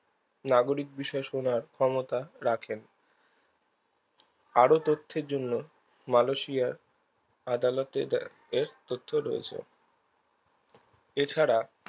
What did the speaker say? নাগরিক বিশেষ হবার ক্ষমতা রাখে আরো তথ্যের জন্য মানুষই আর আদালতে তথ্য রয়েছে এছাড়া